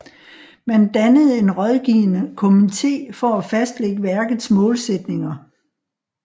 Man dannede en rådgivende kommitté for at fastlægge værkets målsætninger